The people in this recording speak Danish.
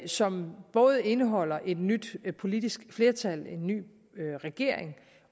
som både indeholdt et nyt politisk flertal en ny regering